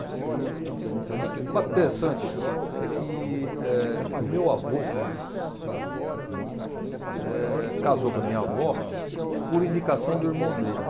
O fato interessante é que eh o meu avô casou com a minha avó por indicação do irmão dele.